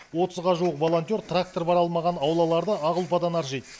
отызға жуық волонтер трактор бара алмаған аулаларды ақ ұлпадан аршиды